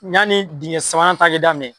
Yani dingɛ sabanan ta ka daminɛ.